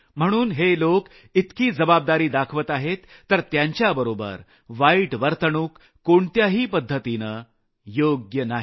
म्हणून हे लोक इतकी जबाबदारी दाखवत आहेत तर त्यांच्याबरोबर वाईट वर्तणूक कोणत्याही पद्धतीने योग्य नाही